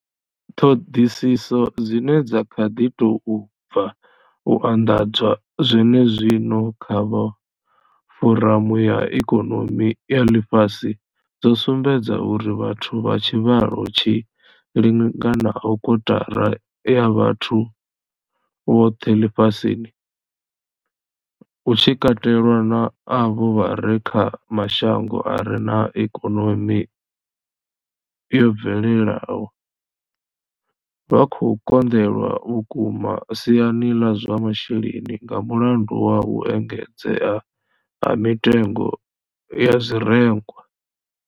Ṱhoḓisiso dzine dza kha ḓi tou bva u anḓadzwa zwenezwino dza vha Foramu ya ikonomi ya ḽifhasi dzo sumbedza uri vhathu vha tshivhalo tshi linganaho kotara ya vhathu vhoṱhe ḽifhasini, hu tshi katelwa na avho vha re kha mashango a re na ikonomi yo bvelelaho, vha khou konḓelwa vhukuma siani ḽa zwa masheleni nga mulandu wa u engedzea ha mitengo ya zwirengwa.